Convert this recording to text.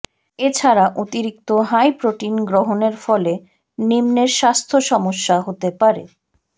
এছাড়া অতিরিক্ত high protein গ্রহণের ফলে নিম্নের স্বাস্থ্যসমস্যা হতে পারেঃ